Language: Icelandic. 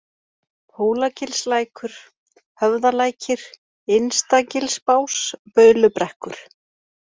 Hólagilslækur, Höfðalækir, Innstagilsbás, Baulubrekkur